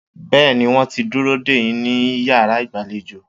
Bẹ́ẹ̀ni, wọ́n ti ń dúró dè yín ní yàrá ìgbàlejò.